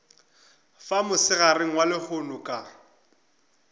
fa mosegareng wa lehono ka